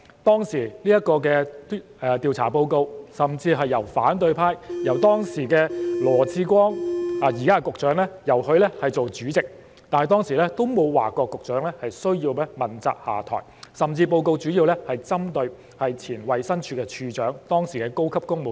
當年的調查報告是由當時的反對派羅致光——即現任局長——擔任主席，但當時也沒有要求局長問責下台，報告主要針對的是以前的衞生署署長及當時的高級公務員。